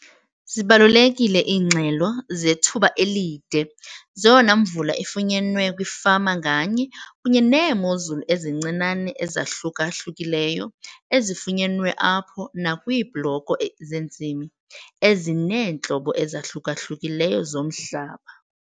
Zibalulekile iingxelo zethuba elide zeyona mvula ifunyenwe kwifama nganye kunye neemozulu ezincinane ezahluka-hlukileyo ezifunyenwe apho nakwiibloko zentsimi ezineentlobo ezahluka-hlukileyo zomhlaba.